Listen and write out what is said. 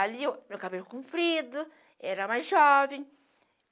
Ali, meu cabelo comprido, era mais jovem.